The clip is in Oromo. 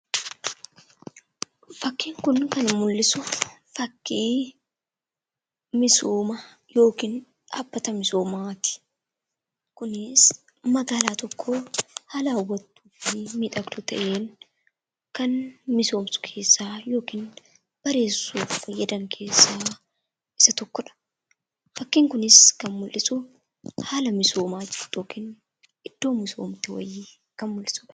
Fakkiin kun kan mul'isu fakkii misooma yookiin dhaabbata misoomaati. Kunis magaalaa tokko haala hawwatuu fi miidhagduu ta'een, kan misoomsu keessaa yookiin bareessuuf fayyadan keessaa isa tokkodha. Fakkiin kunis kan mul'isu haala misoomaa yookiin iddoo misoomtuu kan mul'isudha.